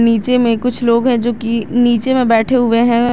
नीचे में कुछ लोग हैं जो कि नीचे में बैठे हुए हैं।